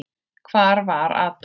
Hvar var Adolf?